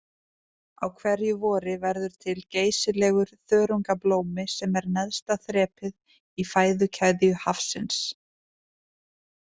Á hverju vori verður til geysilegur þörungablómi sem er neðsta þrepið í fæðukeðju hafsins.